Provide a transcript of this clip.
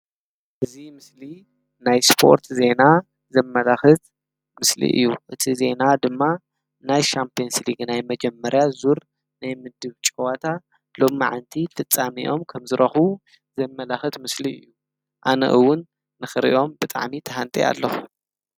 እዚ ምስሊ ናይ ስፖርት ዜና ዘመላክት ምስሊ እዩ፡፡ እዚ ዜና ድማ ናይ ሻምፕዮንስ ሊግ ናይ መጀመርያ ዙር ናይ ምድብ ጨወታ ሎሙዓንቲ ፍፃሚኦም ከምዝረክቡ ዘመላክት ምስሊ እዩ፡፡ ኣነ እውን ንክሪኦም ብጣዕሚ ተሃንጥየ ኣለኩ፡፡